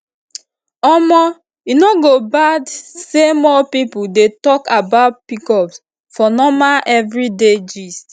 omo e no go bad say more people dey talk about pcos for normal everyday gist